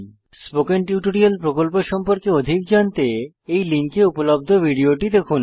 spoken tutorial প্রকল্প সম্পর্কে অধিক জানতে এই লিঙ্কে উপলব্ধ ভিডিওটি দেখুন